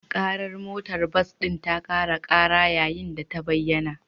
Ƙarar motar bas ɗin ta ƙara ƙara yayin da ta bayyana